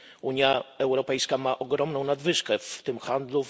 Unia Europejska ma ogromną nadwyżkę w tym handlu.